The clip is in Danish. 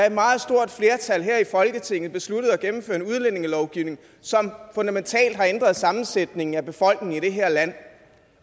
et meget stort flertal her i folketinget besluttede at gennemføre en udlændingelovgivning som fundamentalt har ændret sammensætningen af befolkningen i det her land